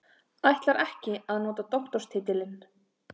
Ætlar ekki að nota doktorstitilinn